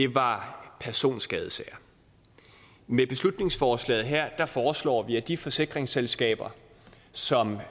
var personskadesager med beslutningsforslaget her foreslår vi at de forsikringsselskaber som